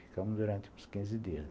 Ficamos durante uns quinze dias lá.